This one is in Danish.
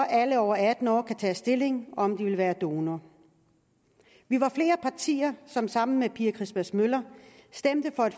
at alle over atten år kan tage stilling om de vil være donor vi var flere partier som sammen med pia christmas møller stemte for